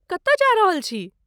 कतऽ जा रहल छी?